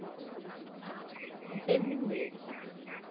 Isso eles não ver.